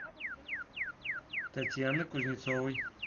татьяны кузнецовой